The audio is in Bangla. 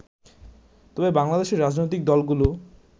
তবে বাংলাদেশের রাজনৈতিক দলগুলো